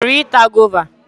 Ị chọrọ ịta gova?